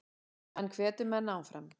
Hann hvetur menn áfram.